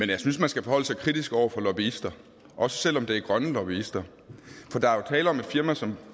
jeg synes man skal forholde sig kritisk over for lobbyister også selv om det er grønne lobbyister for der er jo tale om et firma som